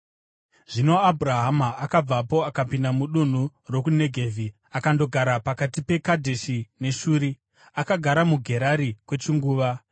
Zvino Abhurahama akabvapo akapinda mudunhu rokuNegevhi akandogara pakati peKadheshi neShuri. Akagara muGerari kwechinguva,